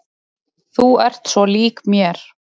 Þú ert svo lík mér!